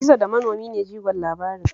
Gizo da manomi ne jigon labarin